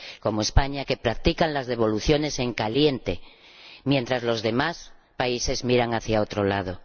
como España, que practican las devoluciones en caliente, mientras los demás países miran hacia otro lado.